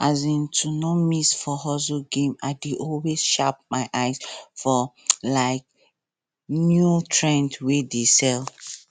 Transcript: um to no miss for hustle game i dey always sharp my eye for um new trends wey dey sell